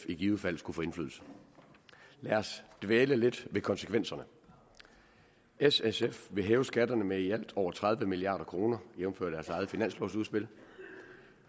i givet fald skulle få indflydelse lad os dvæle lidt ved konsekvenserne s og sf vil hæve skatterne med i alt over tredive milliard kr jævnfør deres eget finanslovudspil